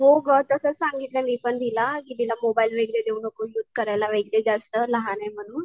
हो ग तसच सांगितलंय मी पण तिला कि तिला मोबाईल वगैरे देऊ नकोस युज करायला वगैरे जास्त लहाने म्हणून.